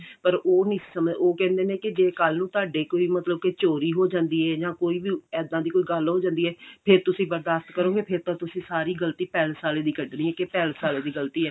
ਪਰ ਉਹ ਨਹੀਂ ਸਮਝਦੇ ਉਹ ਕਹਿੰਦੇ ਨੇ ਕੇ ਜੇ ਕੱਲ ਨੂੰ ਤੁਹਾਡੇ ਕੋਈ ਮਤਲਬ ਕਿ ਚੋਰੀ ਹੋ ਜਾਂਦੀ ਹੈ ਜਾਂ ਕੋਈ ਵੀ ਇੱਦਾਂ ਦੀ ਕੋਈ ਗੱਲ ਹੋ ਜਾਂਦੀ ਹੈ ਫੇਰ ਤੁਸੀਂ ਬਰਦਾਸ਼ਤ ਕਰੋਗੇ ਫੇਰ ਤਾਂ ਸਾਰੀ ਗਲਤੀ ਪੈਲੇਸ ਆਲਿਆਂ ਦੀ ਕੱਢਣੀ ਹੈ ਕਿ ਪੈਲੇਸ ਆਲਿਆਂ ਦੀ ਗਲਤੀ ਹੈ